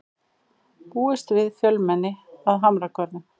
Búist við fjölmenni að Hamragörðum